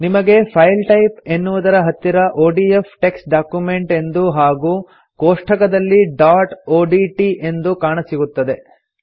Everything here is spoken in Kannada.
ನಿಮಗೆ ಫೈಲ್ ಟೈಪ್ ಎನ್ನುವುದರ ಹತ್ತಿರ ಒಡಿಎಫ್ ಟೆಕ್ಸ್ಟ್ ಡಾಕ್ಯುಮೆಂಟ್ ಎಂದು ಹಾಗೂ ಕೋಷ್ಠಕದಲ್ಲಿ ಡಾಟ್ ಒಡಿಟಿ ಎಂದು ಕಾಣಸಿಗುತ್ತದೆ